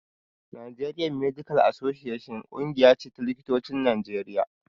Nigerian medical association ƙungiya ce ta likitocin Najeriya